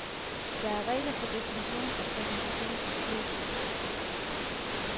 Der er regler for definition og præsentation af spiritus.